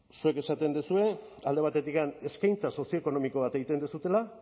ez zuek esaten duzue alde batetik eskaintza sozioekonomiko bat egiten duzuela